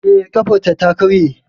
Eh, ƙafata ta karye